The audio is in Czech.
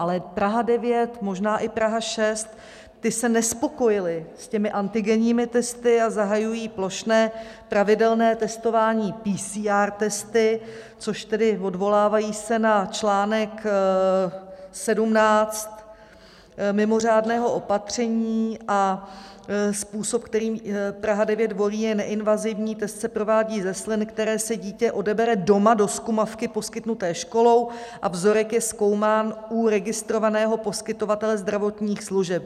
Ale Praha 9, možná i Praha 6, ty se nespokojily s těmi antigenními testy a zahajují plošné pravidelné testování PCR testy, což tedy odvolávají se na článek 17 mimořádného opatření a způsob, který Praha 9 volí, je neinvazivní, test se provádí ze slin, které si dítě odebere doma do zkumavky poskytnuté školou a vzorek je zkoumán u registrovaného poskytovatele zdravotních služeb.